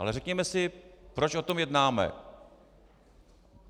Ale řekněme si, proč o tom jednáme.